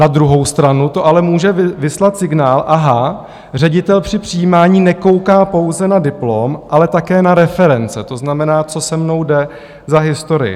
Na druhou stranu to ale může vyslat signál: aha, ředitel při přijímání nekouká pouze na diplom, ale také na reference, to znamená, co se mnou jde za historii.